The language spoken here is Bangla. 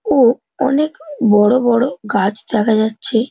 ও অনেক বড়ো বড়ো গাছ দেখা যাচ্ছে।